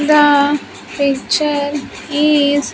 The picture is--